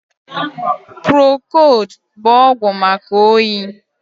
Prokold bụ ọgwụ maka oyi